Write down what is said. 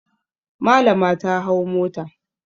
Malama ta hau mota.